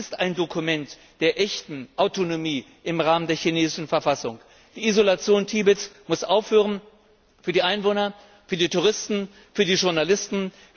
Es ist ein Dokument für eine echte Autonomie im Rahmen der chinesischen Verfassung. Die Isolation Tibets muss aufhören für die Einwohner, für die Touristen, für die Journalisten.